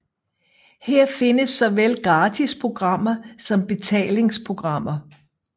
Her findes såvel gratis programmer som betalingsprogrammer